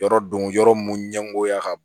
Yɔrɔ don yɔrɔ mun ɲɛngoya ka bon